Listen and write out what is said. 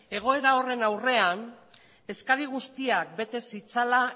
egoera horren aurrean eskari guztiak bete zitzala